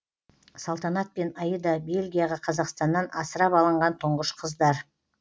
салтанат пен аида бельгияға қазақстаннан асырап алынған тұңғыш қыздар